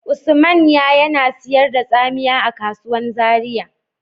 Usmanya yana sayar da tsamiya a kasuwan Zaria.